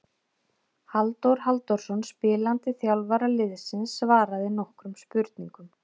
Halldór Halldórsson spilandi þjálfari liðsins svaraði nokkrum spurningum.